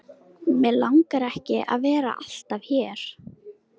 Mig langar ekki að vera alltaf hér.